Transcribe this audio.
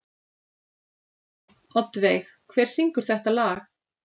Oddveig, hver syngur þetta lag?